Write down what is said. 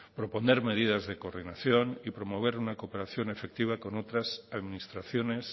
proponer medidas de coordinación y promover una cooperación efectiva con otras administraciones